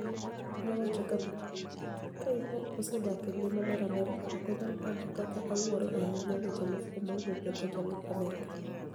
nowacho kama: "Ka ani nig'at mosedak e nigima mar Amerka, ok aniyal panido kaka awuoro ahiniya weche mofuwo mawuok e dho jalup ker mar Amerka".